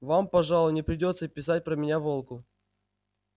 вам пожалуй не придётся писать про меня волку